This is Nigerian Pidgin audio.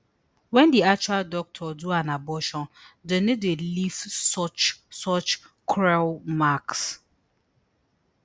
wen di actual doctor do an abortion dem no dey leave such such cruel marks